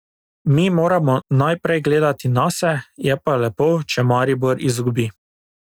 Mi moramo najprej gledati nase, je pa lepo, če Maribor izgubi.